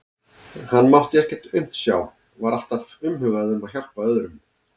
Hann mátti ekkert aumt sjá, var alltaf umhugað um að hjálpa öðrum.